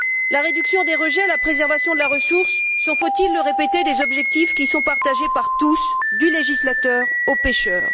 La réduction des rejets, la préservation de la ressource sont, faut il le répéter, des objectifs qui sont partagés par tous, du législateur au pêcheur.